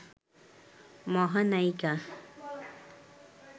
মহানায়িকা